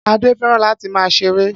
Ade fẹ́ràn láti máa ṣeré